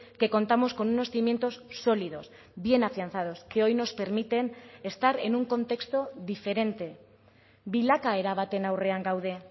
que contamos con unos cimientos sólidos bien afianzados que hoy nos permiten estar en un contexto diferente bilakaera baten aurrean gaude